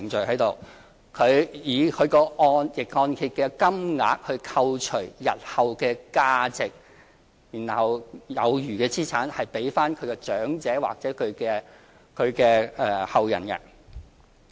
它是以逆按揭的金額扣除日後的價值，然後有餘的資產會歸還給長者或其後人。